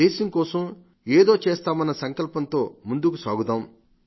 దేశం కోసం ఏదో చేస్తామన్న సంకల్పంతో ముందుకు సాగుదాం